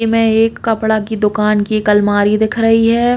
इ में एक कपड़ा की दुकान की एक अलमारी दिख रही है।